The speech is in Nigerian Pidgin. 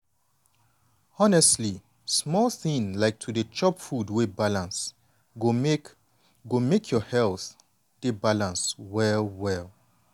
honestly small thing like to dey chop food wey balance go make go make your health dey beta well well.